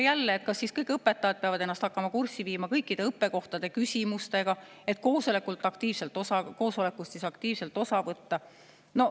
Jälle, kas siis kõik õpetajad peavad ennast hakkama kurssi viima kõikide õppekohtade küsimustega, et koosolekust aktiivselt osa võtta?